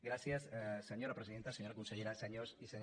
gràcies senyora presidenta senyora consellera senyors i senyores diputats